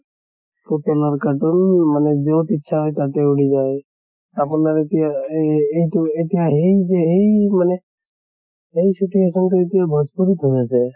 ৰ cartoon মানে যʼত ইচ্ছা হয় তাতে উৰি যায়। আপোনাৰ এতিয়া এই এইটো এতিয়া হেই যে হেই মানে হেই situation তো এতিয়া ভজ্পুৰিত হৈ আছে